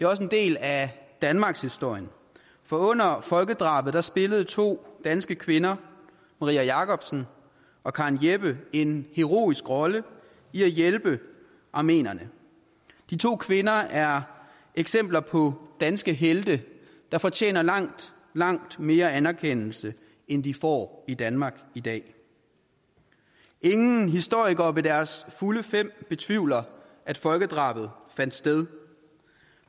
også en del af danmarkshistorien for under folkedrabet spillede to danske kvinder marie jacobsen og karen jeppe en heroisk rolle i at hjælpe armenierne de to kvinder er eksempler på danske helte der fortjener langt langt mere anerkendelse end de får i danmark i dag ingen historikere ved deres fulde fem betvivler at folkedrabet fandt sted